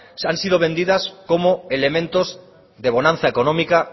han sido vendidas como elementos de bonanza económica